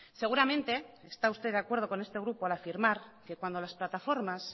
seguramente está usted de acuerdo con este grupo al afirmar que cuando las plataformas